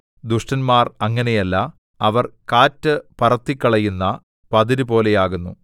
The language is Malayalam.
ദുഷ്ടന്മാർ അങ്ങനെയല്ല അവർ കാറ്റു പറത്തിക്കളയുന്ന പതിരു പോലെയാകുന്നു